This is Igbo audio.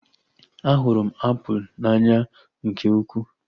A hụrụ m apụl n'anya nke ukwuu